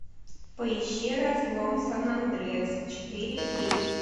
поищи разлом сан андреас четыре кей